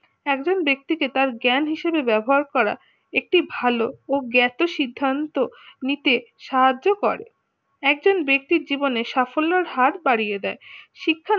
একজন ব্যক্তি কে তার জ্ঞান হিসাবে ব্যবহার করা একটি ভালো ও জ্ঞাতি সিদ্ধান্ত নিতে সাহায্য করে একজন ব্যক্তির জীবনে সাফল্যের হার বাড়িয়ে দেয় শিক্ষা